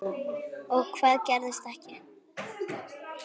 Og hvað gerðist ekki.